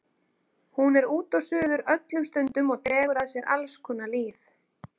Hún er út og suður öllum stundum og dregur að sér alls konar lýð.